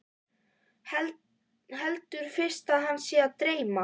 Heldur fyrst að hana sé að dreyma.